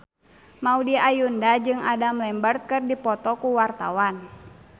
Maudy Ayunda jeung Adam Lambert keur dipoto ku wartawan